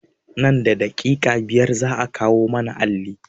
Nan da daƙiƙai biyar za a kawo mana alli